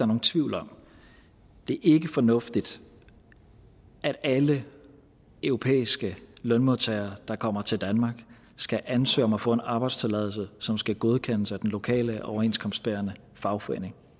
nogen tvivl om det er ikke fornuftigt at alle europæiske lønmodtagere der kommer til danmark skal ansøge om at få en arbejdstilladelse som skal godkendes af den lokale overenskomstbærende fagforening